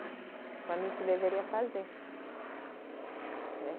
Quando a gente deveria fazer, né